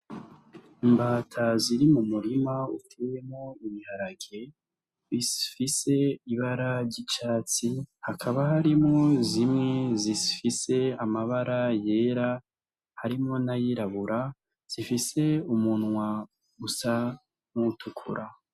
Imbata ziri m'umurima uteyemwo ibiharage, bifise ibara ry'icatsi, hakaba harimwo zimwe zifise amabara yera, harimwo nay'irabura zifise umunwa usa nk'uwutukura.